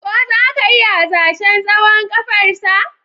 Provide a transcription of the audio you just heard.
Ko za ka iya hasashen tsawon ƙafarsa?